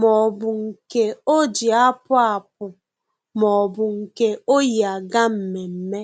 Maọbụ nke o ji apụ apụ maọbụ nke o yi aga mmemme